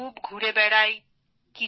আমি খুব ঘুরে বেড়াই